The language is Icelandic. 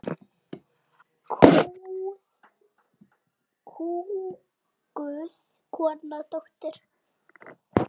Kúguð kona, dóttir.